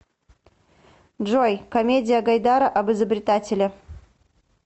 джой комедия гайдара об изобретателе